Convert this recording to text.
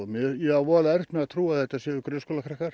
ég á voðalega erfitt með að trúa að þetta séu